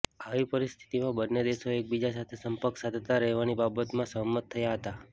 આવી પરિસ્થિતિમાં બંને દેશો એકબીજા સાથે સંપર્ક સાધતા રહેવાની બાબતમાં સહમત થયા હતા